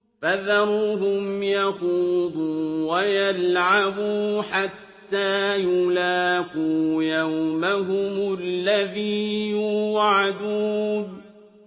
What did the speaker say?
فَذَرْهُمْ يَخُوضُوا وَيَلْعَبُوا حَتَّىٰ يُلَاقُوا يَوْمَهُمُ الَّذِي يُوعَدُونَ